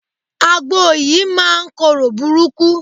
Àgbò yìí máa ń korò burúkú.